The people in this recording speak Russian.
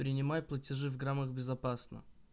принимай платежи в граммах безопасно